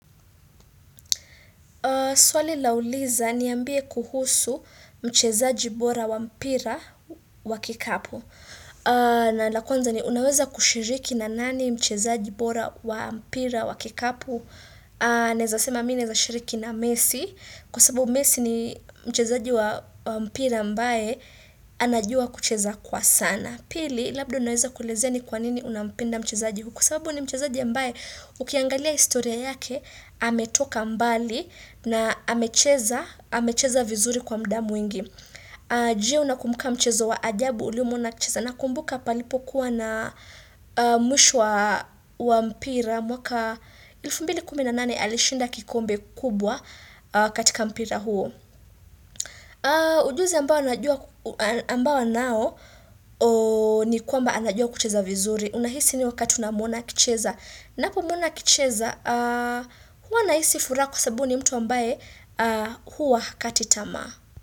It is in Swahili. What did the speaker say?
Swali lauliza niambie kuhusu mchezaji bora wa mpira wa kikapu. Na la kwanza ni unaweza kushiriki na nani mchezaji bora wa mpira wa kikapu. Naeza sema mi naeza shiriki na messi. Kwa sababu messi ni mchezaji wa mpira ambae anajua kucheza kwa sana. Pili labda unaweza kuelezea ni kwa nini unampenda mchezaji. Kwa sababu ni mchezaji ambae ukiangalia historia yake ametoka mbali. Na amecheza, amecheza vizuri kwa mda mwingi. Je unakumbuka mchezo wa ajabu uliomwona akicheza. Nakumbuka palipokuwa na mwisho wa wa mpira mwaka elfu mbili kumi na nane alishinda kikombe kubwa katika mpira huo. Ujuzi ambao najua ambao anao ni kwamba anajua kucheza vizuri. Unahisi ni wakati unamwona akicheza. Napomwona akicheza, huwa nahisi furaa kwa sababu ni mtu ambaye huwa hakati tamaa.